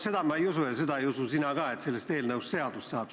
Seda ma ei usu ja seda ei usu sina ka, et sellest eelnõust seadus saab.